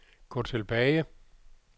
gå tilbage